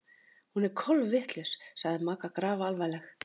Hún er kolvitlaus sagði Magga grafalvarleg.